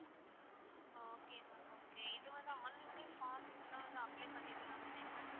okay ma'am okay இது வந்து online லையே form இதுலா வந்து apply பன்னிர்லான் தானேங்க ma'am?